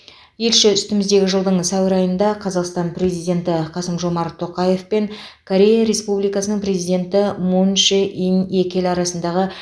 елші үстіміздегі жылдың сәуір айында қазақстан президенті қасым жомарт тоқаев пен корея республикасының президенті мун чжэ ин екі ел арасындағы